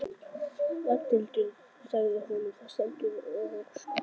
Ragnhildur sagði honum það: Steindór og Óskar.